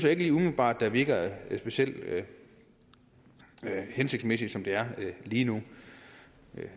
ikke lige umiddelbart virker specielt hensigtsmæssigt som det er lige nu